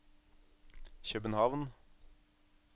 København